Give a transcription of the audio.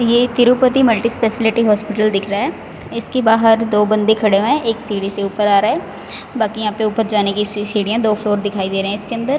ये Tirupati multi speciality hospital दिख रहा है इसके बाहर दो बंदे खड़े हैं एक सीढ़ी से ऊपर आ रहा है बाकी यहां पे ऊपर जाने की सीढ़ियां दो फ्लोर दिखाई दे रहे हैं इसके अंदर--